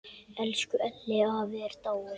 Elsku Elli afi er látin.